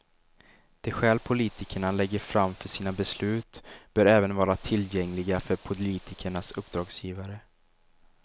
De skäl politikerna lägger fram för sina beslut bör även vara tillgängliga för politikernas uppdragsgivare.